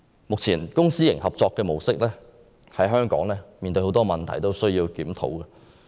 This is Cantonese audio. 目前，公私營合作模式在香港面對很多問題，需要檢討。